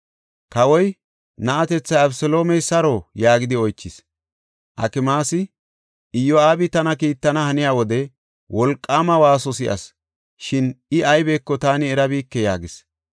Kawoy, “Na7atethay, Abeseloomey saro?” yaagidi oychis. Akimaasi, “Iyo7aabi tana kiittana haniya wode wolqaama waaso si7as, shin I aybeko taani erabike” yaagis.